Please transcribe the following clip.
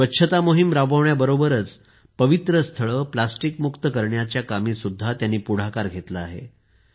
स्वच्छता मोहीम राबवण्याबरोबरच पवित्र स्थळे प्लास्टिकमुक्त करण्याच्या कामीही त्यांनी पुढाकार घेतला आहे